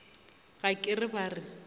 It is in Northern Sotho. ga ke re ba re